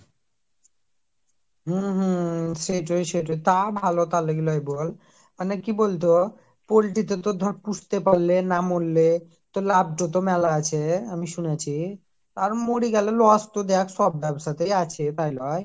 হম হম সেটি সেটি তা ভালো বল। মানে কি বলতো poultry তে ধর পুস্টে পারলে না মরলে, তোর লাভ যত মেলা আছে আমি শুনেছি আর মরে গেলে দেখ loss তো সব জায়গায় আছে তাই লই